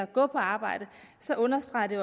gå på arbejde understreger det